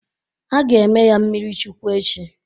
Ha ga-eme ya mmiri Chukwu echi.